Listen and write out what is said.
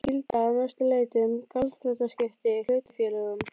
gilda að mestu leyti um gjaldþrotaskipti í hlutafélögum.